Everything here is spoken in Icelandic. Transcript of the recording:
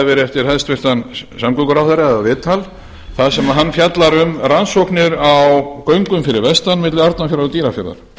verið eftir hæstvirtum samgönguráðherra eða viðtal þar sem hann fjallar um rannsóknir á göngum fyrir vestan milli arnarfjarðar og dýrafjarðar